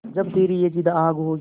जब तेरी ये जिद्द आग होगी